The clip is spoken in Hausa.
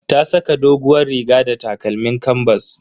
Ta saka doguwar riga da takalmin kanbas.